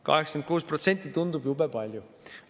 86% tundub jube palju.